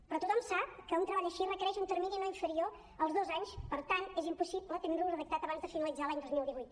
però tothom sap que un treball així requereix un termini no inferior als dos anys per tant és impossible tenir lo redactat abans de finalitzar l’any dos mil divuit